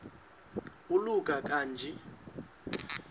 oluka ka njl